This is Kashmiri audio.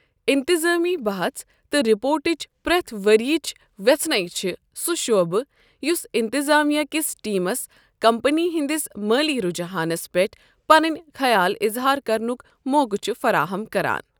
انتظامی بحژ تہٕ رِپورٹٕچ پرٛٮ۪تھ ؤرِۍ یٕچ وٮ۪ژھٕنے چھِ سُہ شعبہٕ یُس انتظامیہ کِس ٹیمس کمپنی ہنٛدِس مٲلی رُجحانَس پٮ۪ٹھ پَنٕنۍ خیال اظہار کرنُک موقعہٕ چھُ فراہم کران۔